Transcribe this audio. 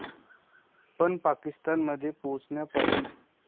पण पाकिस्तानमध्ये पोहोचण्यापासून.